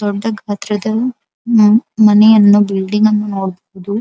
ದೊಡ್ಡ ಗಾತ್ರದ ಮನೆಯನ್ನು ಬಿಲ್ಡಿಂಗ್ ಅನ್ನು ನೋಡಬಹುದು.